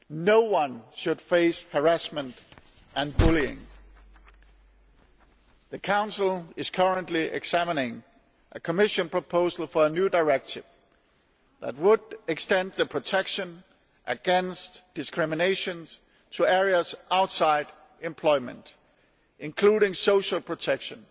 No one should face harassment and bullying. The Council is currently examining a Commission proposal for a new directive that would extend protection against discrimination to areas outside employment areas such as social protection,